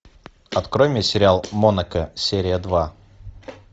открой мне сериал монако серия два